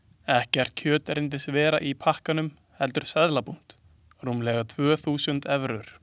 Ekkert kjöt reyndist vera í pakkanum heldur seðlabúnt, rúmlega tvö þúsund evrur.